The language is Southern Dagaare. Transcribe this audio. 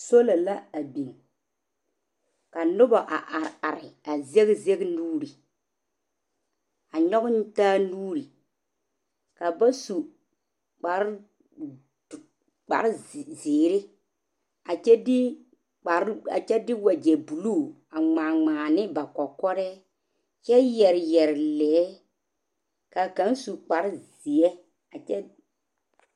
Sola la a biŋ. Ka noba a are are a zɛge zɛge nuuri, nyɔge taa nuuri. Ka ba su kparezeere a kyɛ de wagyɛ buluu a ŋmaa ŋmaa ne ba kɔkɔrɛɛ kyɛ yɛre yɛre lɛɛ. Ka kaŋ su kparezeɛ a kyɛ.